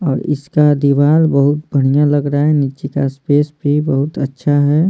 और इसका दीवार बहुत बढ़िया लग रहा है नीचे का स्पेस भी बहुत अच्छा है।